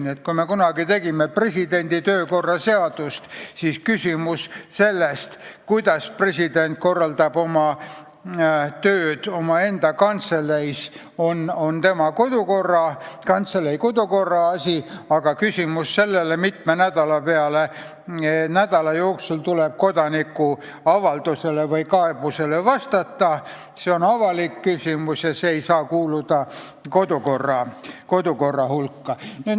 Nii et kui me kunagi teeme jälle presidendi töökorra seadust, siis see, kuidas president korraldab tööd omaenda kantseleis, on tema kantselei kodukorra asi, aga see, kui mitme nädala jooksul tuleb kodaniku avaldusele või kaebusele vastata, on avalik küsimus ja see ei saa kuuluda kodukorra hulka.